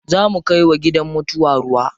Za mu kai wa gidan mutuwa ruwa.